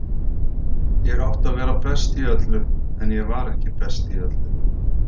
Ég átti að vera best í öllu, en ég var ekki best í öllu.